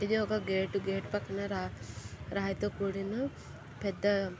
ఇది ఒక gate gate పక్కన రా_ రాయి తో కూడిన పెద్ద--